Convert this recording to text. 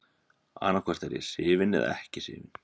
Annaðhvort er ég hrifinn eða ekki hrifinn.